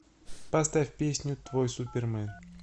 поставь песню твой супермэн